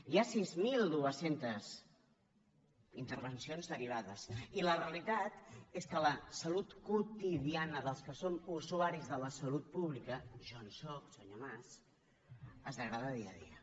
hi ha sis mil dos cents intervencions derivades i la realitat és que la salut quotidiana dels que som usuaris de la salut pública jo en sóc senyor mas es degrada dia a dia